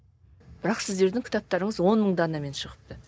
бірақ сіздердің кітаптарыңыз он мың данамен шығыпты